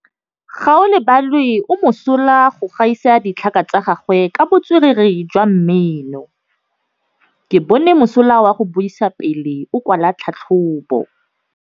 Gaolebalwe o mosola go gaisa dithaka tsa gagwe ka botswerere jwa mmino. Ke bone mosola wa go buisa pele o kwala tlhatlhobô.